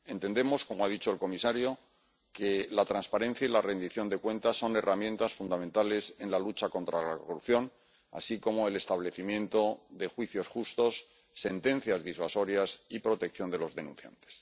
Entendemos, como ha dicho el comisario, que la transparencia y la rendición de cuentas son herramientas fundamentales en la lucha contra la corrupción, así como el establecimiento de juicios justos, sentencias disuasorias y protección de los denunciantes.